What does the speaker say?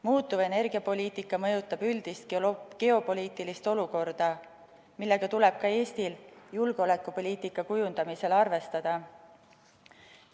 Muutuv energiapoliitika mõjutab üldist geopoliitilist olukorda, millega tuleb ka Eestil julgeolekupoliitika kujundamisel arvestada.